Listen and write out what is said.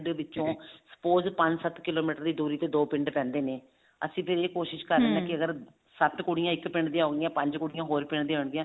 ਡੇ ਵਿੱਚੋਂ suppose ਪੰਜ ਸੱਤ ਕਿਲੋਮੀਟਰ ਦੀ ਦੂਰੀ ਤੇ ਦੋ ਪਿੰਡ ਪੈਂਦੇ ਨੇ ਅਸੀਂ ਫ਼ੇਰ ਕਰਦੇ ਹਾਂ ਫ਼ੇਰ ਸੱਤ ਕੁੜੀਆਂ ਇੱਕ ਪਿੰਡ ਦੀਆਂ ਹੁੰਦੀਆਂ ਪੰਜ ਕੁੜੀਆਂ ਹੋਰ ਪਿੰਡ ਦੀਆਂ ਹੁੰਦੀਆਂ